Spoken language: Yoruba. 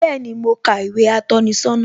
Bẹẹni, mo ka ìwé atọ́ni sọ́nà